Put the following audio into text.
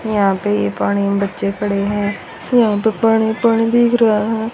यहां पे ये पानी में बच्चे खड़े हैं यहां पे पानी-पानी दिख रहा हैं।